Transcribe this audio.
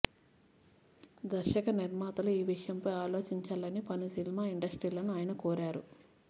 దర్శక నిర్మాతలు ఈ విషయంపై ఆలోచించాలని పలు సినిమా ఇండస్ట్రీలను ఆయన కోరారు